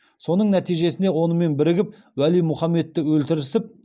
соның нәтижесінде онымен бірігіп уәли мұхаммедті өлтірісіп